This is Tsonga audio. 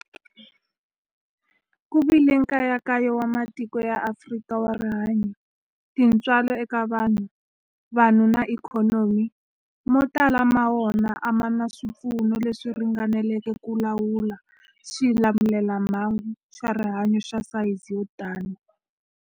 Ku vile nkayakayo wa matiko ya Afrika wa rihanyu, tintswalo eka vanhu, vanhu na ikhonomi, mo tala ma wona a ma na swipfuno leswi ringaneleke ku lawula xilamulelamhangu xa rihanyu xa sayizi yo tani.